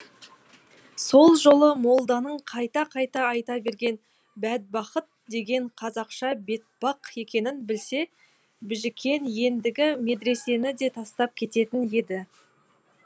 сол жолы молданың қайта қайта айта берген бәдбахыт дегені қазақша бетпақ екенін білсе біжікен ендігі медресені де тастап кететін еді